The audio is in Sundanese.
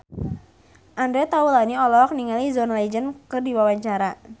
Andre Taulany olohok ningali John Legend keur diwawancara